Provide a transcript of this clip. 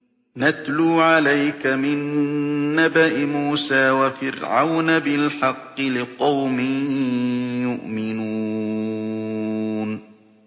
نَتْلُو عَلَيْكَ مِن نَّبَإِ مُوسَىٰ وَفِرْعَوْنَ بِالْحَقِّ لِقَوْمٍ يُؤْمِنُونَ